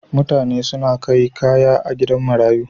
Mutane suna kai kaya gida marayu.